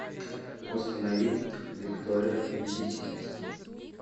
установи виктория победительница